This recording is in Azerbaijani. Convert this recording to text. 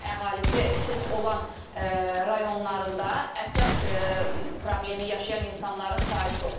əhalisi sıx olan rayonlarında əsəb problemi yaşayan insanların sayı çoxdur.